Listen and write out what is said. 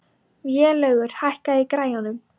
Vélaugur, hækkaðu í græjunum.